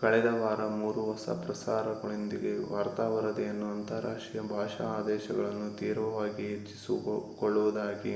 ಕಳೆದ ವಾರ ಮೂರು ಹೊಸ ಪ್ರಸಾರಗಳೊಂದಿಗೆ ವಾರ್ತಾ ವರದಿಯನ್ನು ಅಂತರಾಷ್ಟೀಯ ಭಾಷಾ ಆದೇಶಗಳನ್ನು ತೀವ್ರವಾಗಿ ಹೆಚ್ಚಿಸಿಕೊಳ್ಳುವುದಾಗಿ